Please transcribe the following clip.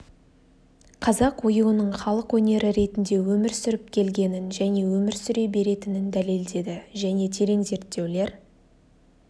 қазақ оюының халық өнері ретінде өмір сүріп келгенін және өмір сүре беретінін дәлелдеді және терең зерттеулер